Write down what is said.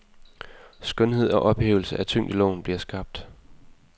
Skønhed og ophævelse af tyngdeloven bliver skabt.